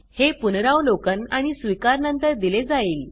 हे पुनरावलोकन आणि स्वीकार नंतर दिले जाईल